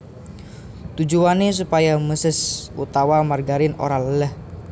Tujuwané supaya méses utawa margarin ora léléh